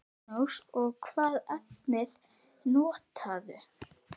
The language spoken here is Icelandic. Magnús: Og hvaða efnivið notarðu?